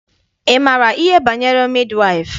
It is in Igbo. Ị maara ihe banyere midi waịfụ?